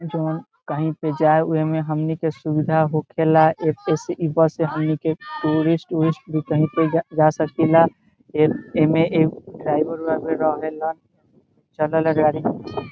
जोन कही पे जाय उ में हमनी के सुविधा होखेंला एते से हमनी के टूरिस्ट ऊरिस्ट जा सके ला एमे ड्राइवर उरावर रहेला चलेला गाड़ी।